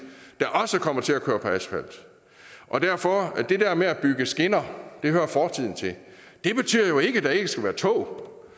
der også kommer til at køre på asfalt derfor hører det der med at bygge skinner fortiden til det betyder jo ikke at der ikke skal være tog